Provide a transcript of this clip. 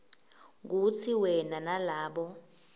kutsi wena nalabo